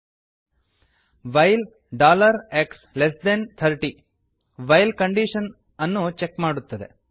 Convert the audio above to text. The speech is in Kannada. while x30 while dollar x less than thirty while condition ಅನ್ನು ಚೆಕ್ ಮಾಡುತ್ತದೆ